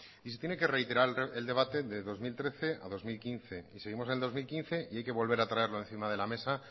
y se tiene que reiterar el debate de dos mil trece a dos mil quince y seguimos en el dos mil quince y hay que volver a traerlo encima de la mesa